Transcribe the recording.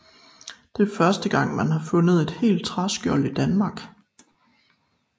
Det er første gang man har fundet et helt træskjold i Danmark